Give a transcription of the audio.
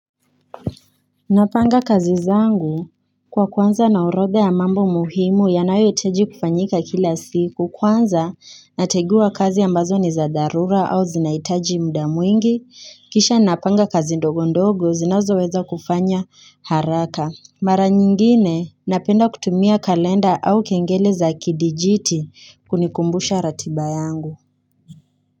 Napanga kazi zangu kwa kuanza na orodha ya mambo muhimu yanayo hitaji kufanyika kila siku kwanza natengua kazi ambazo ni za dharura au zinaitaji muda mwingi kisha napanga kazi ndogo ndogo zinazo weza kufanya haraka Mara nyingine napenda kutumia kalenda au kengele za kidijiti kunikumbusha ratiba yangu.